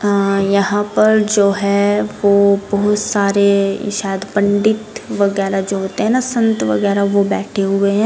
अं यहाँ पर जो हो वो बहुत सारे शायद पंडित वगेरा जो होते है न संत वगेरा वो बैठे हुए है।